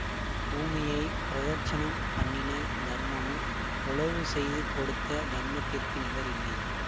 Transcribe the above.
பூமியை பிரதட்சணம் பண்ணின தர்மமும் உழவு செய்து கொடுத்த தர்மத்திற்கு நிகரில்லை